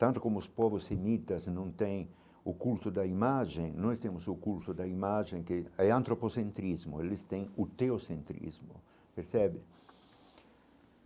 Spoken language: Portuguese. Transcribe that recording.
Tanto como os povos semitas não têm o culto da imagem, nós temos o culto da imagem que é antropocentrismo, eles têm o teocentrismo, percebe?